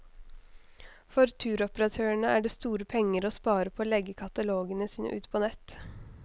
For turoperatørene er det store penger å spare på å legge katalogene sine ut på nett.